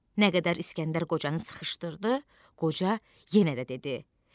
Nə qədər İskəndər qocanı sıxışdırdı, qoca yenə də dedi: